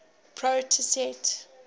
proyset